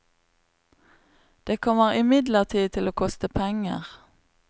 Det kommer imidlertid til å koste penger.